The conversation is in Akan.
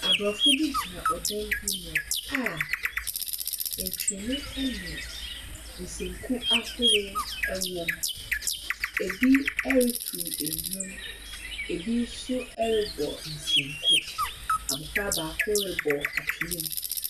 Aborɔfo bi gyina dan bi mu a ntwene ne nsanku ahorow wɔ mu. Ebi retow nnwom. Ebi nso rebɔ nsanku. Abɔfra baako rebɔ twne mu.